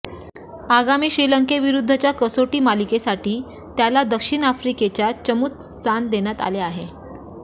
आगामी श्रीलंकेविरुद्धच्या कसोटी मालिकेसाठी त्याला दक्षिण आफ्रिकेच्या चमूत स्थान देण्यात आले आहे